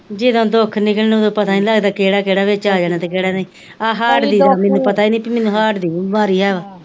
ਜਦੋਂ ਦੁਖ ਨਿਕਲਣਾ ਉਦੋਂ ਪਤਾ ਹੀ ਨੀ ਲੱਗਦਾ ਕਿਹੜਾ ਕਿਹੜਾ ਵਿੱਚ ਆ ਜਾਣਾ ਕਿਹੜਾ ਨਈ ਆ ਹਾਰਟ ਦੀ ਤੇ ਮੈਂਨੂੰ ਪਤਾ ਈ ਨੀ ਭੇਈ ਮੈਂਨੂੰ ਹਾਰਟ ਦੀ ਵੀ ਬਿਮਾਰੀ ਹਾਂ,